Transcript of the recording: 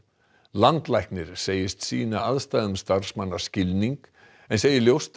landlæknir segist sýna aðstæðum starfsmanna skilning en segir ljóst